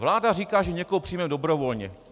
Vláda říká, že někoho přijmeme dobrovolně.